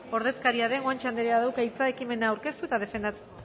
ordezkaria den guanche anderea dauka hitza ekimena aurkeztu eta defendatzeko